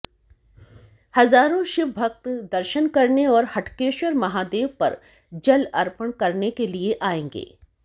हजारों शिवभक्त दर्शन करने और हटकेश्वर महादेव पर जल अर्पण करने के लिए आएंगे